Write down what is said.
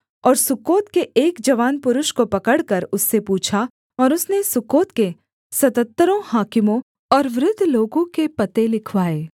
और सुक्कोत के एक जवान पुरुष को पकड़कर उससे पूछा और उसने सुक्कोत के सतहत्तरों हाकिमों और वृद्ध लोगों के पते लिखवाए